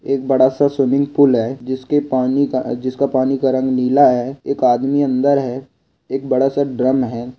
एक बड़ा सा स्विमिंग पूल है जिसके पानी का अ जिसका पानी का रंग नीला है एक आदमी अंदर है एक बड़ा सा ड्रम है।